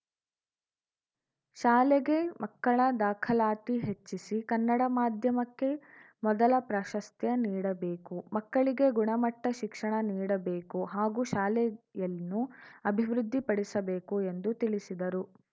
ಶಾಲೆಗೆ ಮಕ್ಕಳ ದಾಖಲಾತಿ ಹೆಚ್ಚಿಸಿ ಕನ್ನಡ ಮಾದ್ಯಮಕ್ಕೆ ಮೊದಲ ಪ್ರಾಶಸ್ತ್ಯ ನೀಡಬೇಕು ಮಕ್ಕಳಿಗೆ ಗುಣಮಟ್ಟ ಶಿಕ್ಷಣ ನೀಡಬೇಕು ಹಾಗೂ ಶಾಲೆಯನ್ನು ಅಭಿವೃದ್ಧಿಪಡಿಸಬೇಕು ಎಂದು ತಿಳಿಸಿದರು